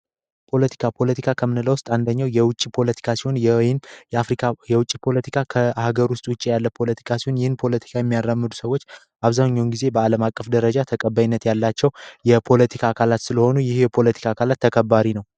ፖለቲካጨፖለቲካ ከምንለው አንደኛው የውጪ ፖለቲካው የወይን የአፍሪካ የውጭ ፖለቲካ ከሃገር ውስጥ ያለ ፖለቲካ የሚያራምዱ ሰዎች አብዛኛውን ጊዜ በዓለም አቀፍ ደረጃ ተቀባይነት ያላቸው የፖለቲካ አካላት ስለሆኑ ይሄ የፖለቲካ ካለ ተከባሪ ነው።